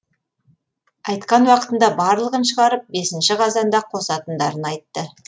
айтқан уақытында барлығын шығарып бесінші қазанда қосатындарын айтты